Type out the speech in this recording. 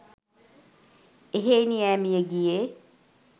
එහෙයිනි ''ඈ මියගියේ